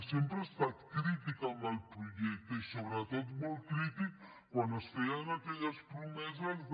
sempre ha estat crítica amb el projecte i sobretot molt crítica quan es feien aquelles promeses de